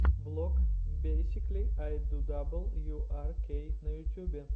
влог бейсикли ай ду дабл ю ар кей на ютюбе